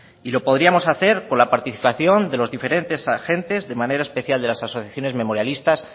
y lo podríamos hacer con la participación de los diferentes agentes de manera especial de las asociaciones memorialistas